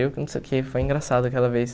Eu, não sei o que, foi engraçado aquela vez.